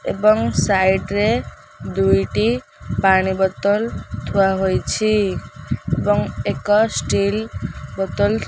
ଏବଂ ସାଇଡ୍ ରେ ଦୁଇଟି ପାଣି ବୋତଲ ଥୁଆ ହୋଇଛି ଏବଂ ଏକ ଷ୍ଟିଲ ବୋତଲ --